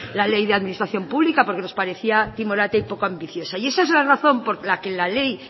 la ley de administración pública porque nos parecía timorata y poco ambiciosa y esa es la razón por la que la ley